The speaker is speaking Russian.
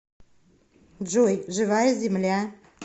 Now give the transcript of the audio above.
джой живая земля